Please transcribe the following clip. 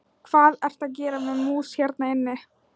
Hvað ertu að gera með mús hérna inni?